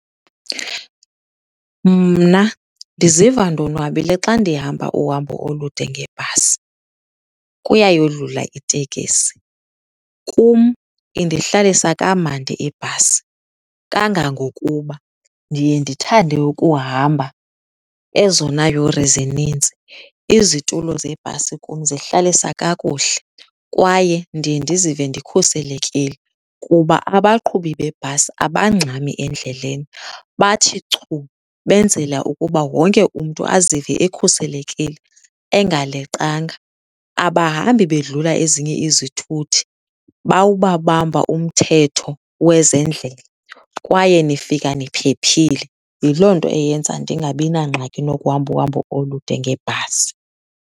Mna ndiziva ndonwabile xa ndihamba uhambo olude ngebhasi kuyayodlula itekisi. Kum indihlalisa kamandi ibhasi kangangokuba ndiye ndithande ukuhamba ezona yure zininzi. Izitulo zebhasi kum zihlalisa kakuhle, kwaye ndiye ndizive ndikhuselekile kuba abaqhubi bebhasi abangxami endleleni bathi chu, benzela ukuba wonke umntu azive ekhuselekile, engaleqanga. Abahambi bedlula ezinye izithuthi, bawubabamba umthetho wezendlela kwaye nifika niphephile. Yiloo nto eyenza ndingabi nangxaki nokuhamba uhambo olude ngebhasi.